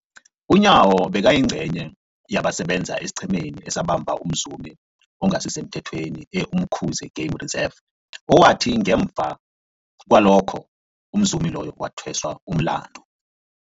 UNyawo bekayingcenye yabasebenza esiqhemeni esabamba umzumi ongasisemthethweni e-Umkhuze Game Reserve, owathi ngemva kwalokho umzumi loyo wathweswa umlandu.